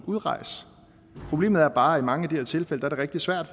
udrejse problemet er bare at i mange af de her tilfælde er det rigtig svært